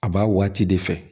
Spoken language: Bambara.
A b'a waati de fɛ